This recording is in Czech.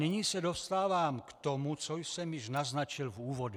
Nyní se dostávám k tomu, co jsem již naznačil v úvodu.